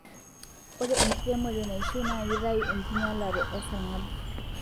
Ore enkiremore naishiu na kitayu enkinyalare esarngab